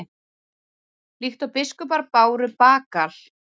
líkt og biskupar báru bagal